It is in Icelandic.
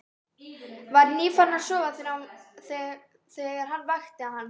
Var nýfarinn að sofa þegar hann vakti hann.